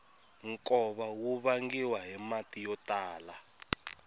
nkova wu vangiwa hi mati yo tala